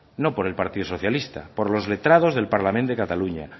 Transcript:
no por el partido socialista por los letrado del parlament de cataluña